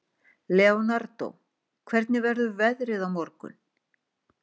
Leonardó, hvernig verður veðrið á morgun?